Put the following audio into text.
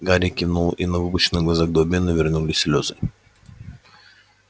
гарри кивнул и на выпученных глазах добби навернулись слёзы